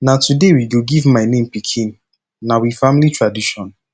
na today we go give my pikin name na we family tradition